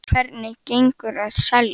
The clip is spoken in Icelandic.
Sindri: Hvernig gengur að selja?